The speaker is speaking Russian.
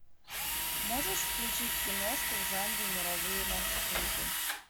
можешь включить киношку в жанре мировые маршруты